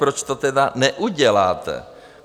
Proč to tedy neuděláte?